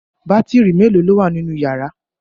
Bátírí mélòó ni ó wà nínú ìyàrá?